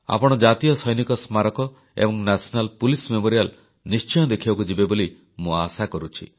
ଆପଣ ଜାତୀୟ ସୈନିକ ସ୍ମାରକୀ ଏବଂ ଜାତୀୟ ପୁଲିସ ସ୍ମାରକୀ ନିଶ୍ଚୟ ଦେଖିବାକୁ ଯିବେ ବୋଲି ମୁଁ ଆଶା କରୁଛି